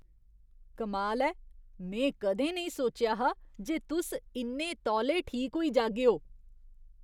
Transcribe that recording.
कमाल ऐ ! में कदें नेईं सोचेआ हा जे तुस इन्ने तौले ठीक होई जागेओ।